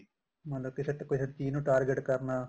ਮਤਲਬ ਕਿਸੇ ਚੀਜ਼ ਨੂੰ target ਕਰਨਾ